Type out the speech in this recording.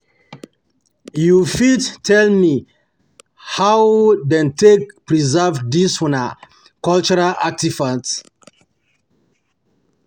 you fit tell me how them take preserve this una cultural artifacts?